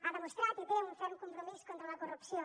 ha demostrat i té un ferm compromís contra la corrupció